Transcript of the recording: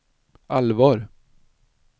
allvar